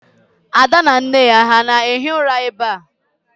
Ada na nne ya ha na-ehi ụra ebe a?